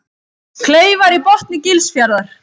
Kleifar í botni Gilsfjarðar.